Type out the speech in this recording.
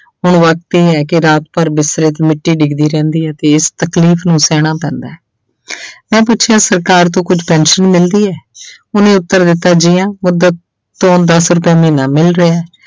ਹੁਣ ਵਕਤ ਇਹ ਹੈ ਕਿ ਰਾਤ ਭਰ ਬਿਸਤਰੇ ਤੇ ਮਿੱਟੀ ਡਿੱਗਦੀ ਰਹਿੰਦੀ ਹੈ ਤੇ ਇਸ ਤਕਲੀਫ਼ ਨੂੰ ਸਹਿਣਾ ਪੈਂਦਾ ਹੈ ਮੈਂ ਪੁੱਛਿਆ ਸਰਕਾਰ ਤੋਂ ਕੁੱਝ ਪੈਨਸਨ ਮਿਲ ਰਹੀ ਹੈ ਉਹਨੇ ਉੱਤਰ ਦਿੱਤਾ ਜੀ ਹਾਂਂ ਮੁਦਤ ਤੋਂ ਦਸ ਰੁਪਇਆ ਮਹੀਨਾ ਮਿਲ ਰਿਹਾ।